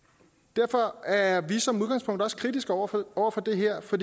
derfor er vi som udgangspunkt også kritiske over for det her for